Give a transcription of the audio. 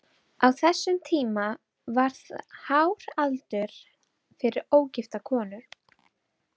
Á þessum tíma var það hár aldur fyrir ógifta konu.